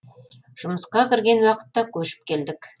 жұмысқа кірген уақытта көшіп келдік